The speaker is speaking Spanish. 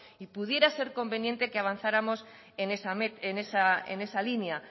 pudiera ser conveniente que avanzáramos en esa línea